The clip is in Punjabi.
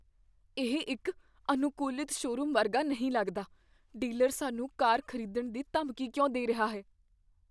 ਇਹ ਇੱਕ ਅਨੁਕੂਲਤ ਸ਼ੋਰੂਮ ਵਰਗਾ ਨਹੀਂ ਲੱਗਦਾ, ਡੀਲਰ ਸਾਨੂੰ ਕਾਰ ਖ਼ਰੀਦਣ ਦੀ ਧਮਕੀ ਕਿਉਂ ਦੇ ਰਿਹਾ ਹੈ?